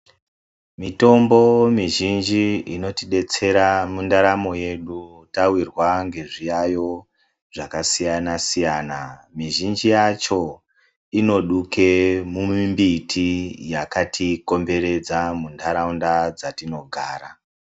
Mitombo mizhinji inotidetsera mundaramo yedu tawirwa ngezviyayo zvakasiyana siyana mizhinji yacho inoduka mumumbiti yakatikomberedza mundaraunda dzatinogara .